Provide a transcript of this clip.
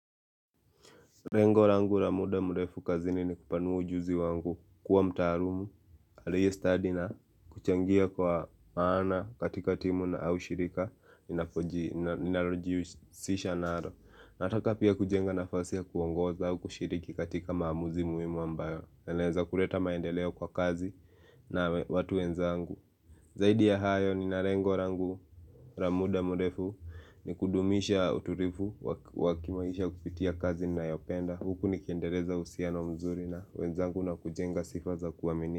Lengo langu la muda mrefu kazini ni kupanua ujuzi wangu, kuwa mtaalumu aliye stadi na kuchangia kwa maana katika timu na au shirika ninalojihusisha nalo. Nataka pia kujenga nafasi ya kuongoza au kushiriki katika maamuzi muhimu ambayo yanaweza kuleta maendeleo kwa kazi na watu wenzangu Zaidi ya hayo, nina lengo langu la muda mrefu ni kudumisha utulivu wa kimaisha kupitia kazi ninayopenda huku nikiendeleza uhusiano mzuri na wenzangu na kujenga sifa za kuaminika.